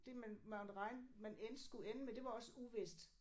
Det man måtte regne man endte skulle ende med det var også uvist